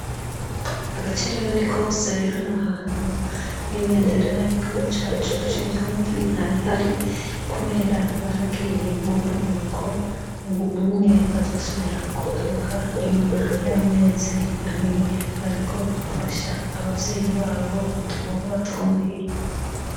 Agacerera ni kose hano hantu, n'ibendera y'igihugu cacu c'uburundi nta yihari, kubera barabiye mu buruhuko. Ubu unye bazosubira kugaruka inyuma y'amezi abiri, bariko bafasha abavyeyi babo udukorwa tw'omuhira.